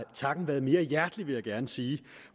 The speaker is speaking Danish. takken været mere hjertelig vil jeg gerne sige